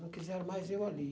Não quiseram mais eu ali.